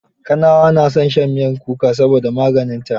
Kanawa na son shan mitmyar kuka saboda maganinta.